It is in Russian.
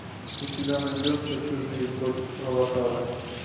у тебя найдется чужие против аватара